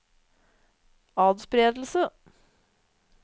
atspredelse